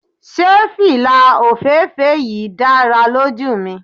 Se fila ofeefee yii dara loju mi